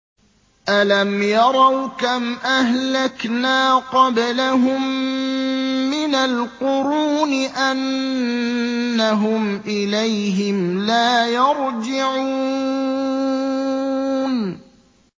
أَلَمْ يَرَوْا كَمْ أَهْلَكْنَا قَبْلَهُم مِّنَ الْقُرُونِ أَنَّهُمْ إِلَيْهِمْ لَا يَرْجِعُونَ